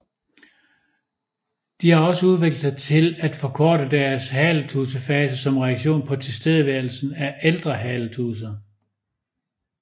De har også udviklet sig til at forkorte deres haletudsefase som reaktion på tilstedeværelsen af ældre haletudser